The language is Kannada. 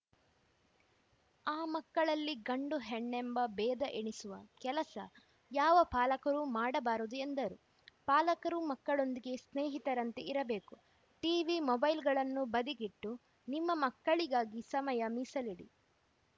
ಆ ಮಕ್ಕಳಲ್ಲಿ ಗಂಡು ಹೆಣ್ಣೆಂಬ ಬೇಧ ಎಣಿಸುವ ಕೆಲಸ ಯಾವ ಪಾಲಕರೂ ಮಾಡಬಾರದು ಎಂದರು ಪಾಲಕರು ಮಕ್ಕಳೊಂದಿಗೆ ಸ್ನೇಹಿತರಂತೆ ಇರಬೇಕು ಟಿವಿ ಮೊಬೈಲ್‌ಗಳನ್ನು ಬದಿಗಿಟ್ಟು ನಿಮ್ಮ ಮಕ್ಕಳಿಗಾಗಿ ಸಮಯ ಮೀಸಲಿಡಿ